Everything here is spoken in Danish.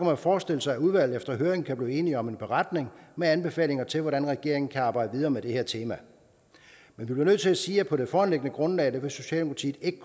man forestille sig at udvalget efter høringen kan blive enige om en beretning med anbefalinger til hvordan regeringen kan arbejde videre med det her tema men vi bliver nødt til at sige at på det foreliggende grundlag kan socialdemokratiet ikke